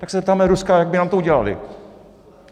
Tak se zeptáme Ruska, jak by nám to udělali.